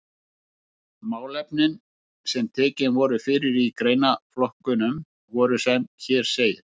Málefnin sem tekin voru fyrir í greinaflokkunum voru sem hér segir